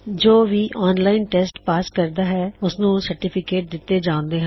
ਜੋ ਵੀ online test pass ਕਰਦਾ ਹੈ ਉਸਨੂੰ ਸਰਟੀਫਿਕੇਟ ਦਿੱਤੇ ਜਾਉਂਦੇ ਹਨ